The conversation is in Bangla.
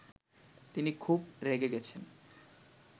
তিনি খুব রেগে গেছেন